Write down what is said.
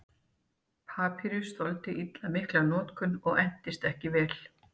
papýrus þoldi illa mikla notkun og entist ekki vel